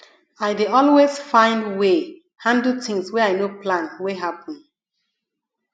i dey always find way handle tins wey i no plan wey happen